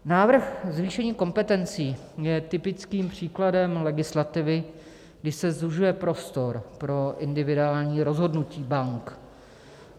Návrh zvýšení kompetencí je typickým příkladem legislativy, kdy se zužuje prostor pro individuální rozhodnutí bank.